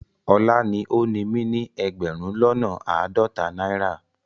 Ola ni o ni mi ni egberun lona aadota naira